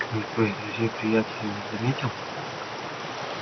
никто из друзей-приятелей не заметил